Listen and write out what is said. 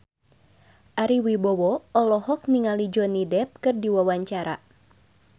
Ari Wibowo olohok ningali Johnny Depp keur diwawancara